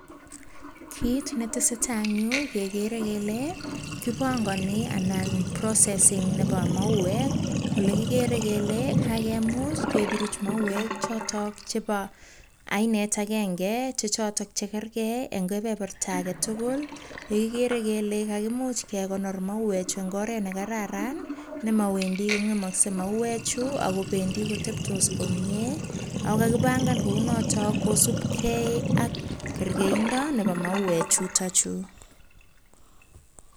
Kit netesetai eng yu, kekere kele, kipangoni anan processing nebo mauek. Ole kikere kele kakemuch kepuruch mauek chotok chebo ainet agenge, che chotok chekerge eng kebeberta age tugul. Yeigere ile kaimuch kekonor mauechu eng oret ne kararan, nemawendi kong'emoskei mauechu ak kobenxi koteptos komie. Ako kakipangan kounotok kosupgei ak kergeindo nebo mauechutochu.